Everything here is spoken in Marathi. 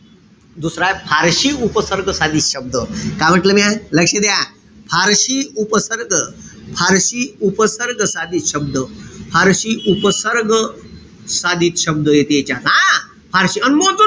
दुसराय फारशी उपसर्ग साधित शब्द. का म्हंटल म्या? लक्ष द्या. फारशी उपसर्ग. फारशी उपसर्ग साधित शब्द. फारशी उपसर्ग साधित शब्द येते यांच्यात. हां. अन मोजून,